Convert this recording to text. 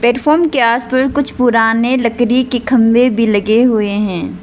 के आसपास कुछ पुराने लकड़ी के खंभे भी लगे हुए हैं।